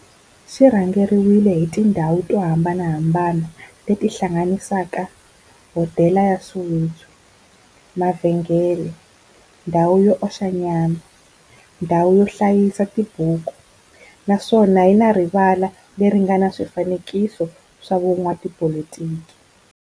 xi rhendzeriwile hi tindhawu to hambanahambana le ti hlanganisaka, hodela ya Soweto, mavhengele, ndhawu yo oxa nyama, ndhawu yo hlayisa tibuku, naswona yi na rivala le ri nga na swifanekiso swa vo n'watipolitiki.